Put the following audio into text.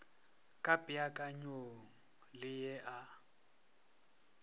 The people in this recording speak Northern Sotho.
ka peakanyong ye e a